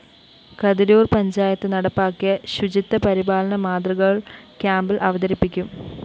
കതിരൂര്‍ പഞ്ചായത്ത് നടപ്പാക്കിയ ശുചിത്വ പരിപാലന മാതൃകള്‍ ക്യാംപില്‍ അവതരിപ്പിക്കും